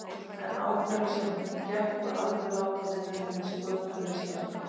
En á hverju sem gekk var aldrei lát á vinnunni við sköpun listaverka.